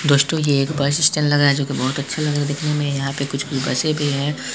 दोस्तों ये एक बस स्टैंड लग रहा है जो की बहुत अच्छा लग रहा है देखने में यहां पर कुछ कुछ बसें भी हैं ।